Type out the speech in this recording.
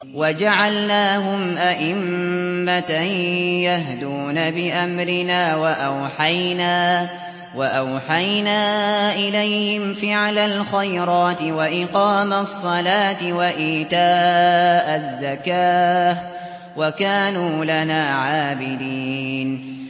وَجَعَلْنَاهُمْ أَئِمَّةً يَهْدُونَ بِأَمْرِنَا وَأَوْحَيْنَا إِلَيْهِمْ فِعْلَ الْخَيْرَاتِ وَإِقَامَ الصَّلَاةِ وَإِيتَاءَ الزَّكَاةِ ۖ وَكَانُوا لَنَا عَابِدِينَ